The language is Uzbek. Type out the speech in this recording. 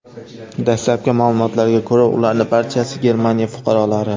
Dastlabki ma’lumotlarga ko‘ra, ularning barchasi Germaniya fuqarolari.